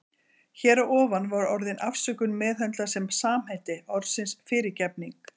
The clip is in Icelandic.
Hér að ofan var orðið afsökun meðhöndlað sem samheiti orðsins fyrirgefning.